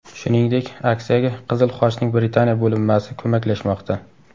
Shuningdek, aksiyaga Qizil Xochning Britaniya bo‘linmasi ko‘maklashmoqda.